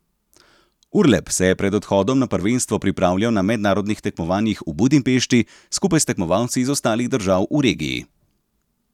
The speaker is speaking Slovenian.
Urlep se je pred odhodom na prvenstvo pripravljal na mednarodnih tekmovanjih v Budimpešti skupaj s tekmovalci iz ostalih držav v regiji.